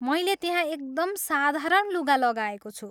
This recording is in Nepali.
मैले त्यहाँ एकदम साधारण लुगा लगाएको छु।